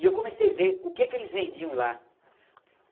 E eu comecei ver o que que eles vendiam lá.